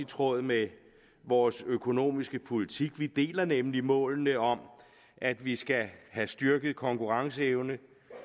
tråd med vores økonomiske politik vi deler nemlig målene om at vi skal have styrket konkurrenceevnen at